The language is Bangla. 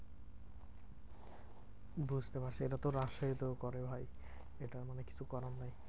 বুঝতে পারছি এটা তো রাশেয়ার তো করে ভাই এটা কিছু করার নেই।